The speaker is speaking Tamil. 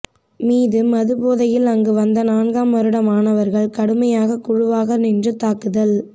மீது மது போதையில் அங்கு வந்த நான்காம் வருட மாணவர்கள் கடுமையாக குழுவாக நின்று தாக்குதல்